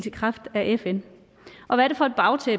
i kraft af fn